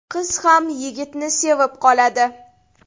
Qiz ham yigitni sevib qoladi.